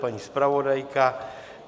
Paní zpravodajka?